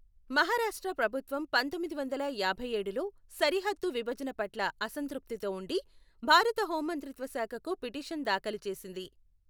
మహారాష్ట్ర ప్రభుత్వం పంతొమ్మిది వందల యాభై యేడులో సరిహద్దు విభజన పట్ల అసంతృప్తితో ఉండి, భారత హోంమంత్రిత్వ శాఖకు పిటిషన్ దాఖలు చేసింది.